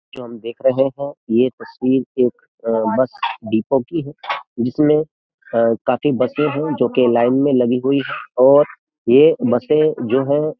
जो हम देख रहे हैं यह तस्वीर एक बस डीपो की है जिसमें काफी बसें हैं जो कि लाइन में लगी हुई है और ये बसे जो है --